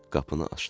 Qapını açdım.